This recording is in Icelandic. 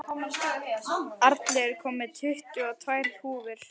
Arnleifur, ég kom með tuttugu og tvær húfur!